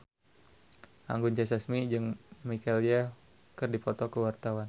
Anggun C. Sasmi jeung Michelle Yeoh keur dipoto ku wartawan